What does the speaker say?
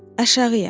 Aşağıya.